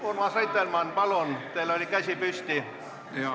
Urmas Reitelmann, palun, teil oli käsi püsti!